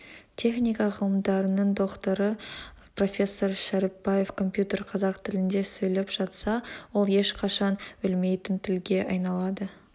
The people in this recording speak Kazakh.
техника ғылымдарының докторы профессор шәріпбаев компьютер қазақ тілінде сөйлеп жатса ол ешқашан өлмейтін тілге айналады